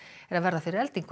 er að verða fyrir eldingu